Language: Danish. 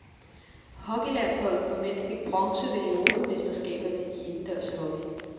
Hockeylandsholdet for mænd fik bronze ved europamesterskaberne i indendørs hockey.